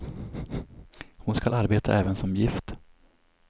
Hon skall arbeta även som gift.